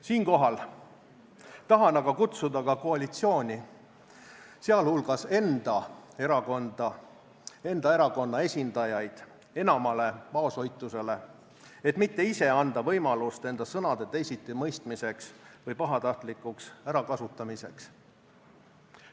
Siinkohal tahan aga kutsuda ka koalitsiooni, sealhulgas enda erakonna esindajaid, enamale vaoshoitusele, et mitte ise anda võimalust enda sõnade teisitimõistmiseks või pahatahtlikuks ärakasutamiseks.